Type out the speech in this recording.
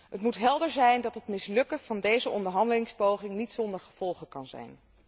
Het moet helder zijn dat het mislukken van deze onderhandelingspoging niet zonder gevolgen kan zijn.